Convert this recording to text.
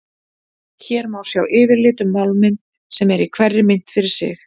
Hér má sjá yfirlit um málminn sem er í hverri mynt fyrir sig.